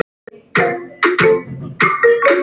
Og gleypir það.